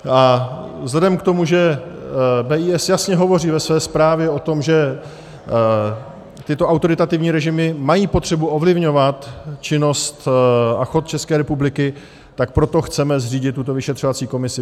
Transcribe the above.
A vzhledem k tomu, že BIS jasně hovoří ve své zprávě o tom, že tyto autoritativní režimy mají potřebu ovlivňovat činnost a chod České republiky, tak proto chceme zřídit tuto vyšetřovací komisi.